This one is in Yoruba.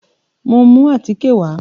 Mo mú àtíkè wà.